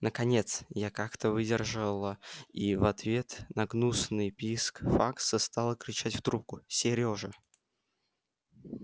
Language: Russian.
наконец я как-то не выдержала и в ответ на гнусный писк факса стала кричать в трубку серёжа